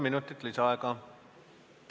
Palun!